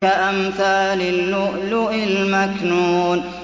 كَأَمْثَالِ اللُّؤْلُؤِ الْمَكْنُونِ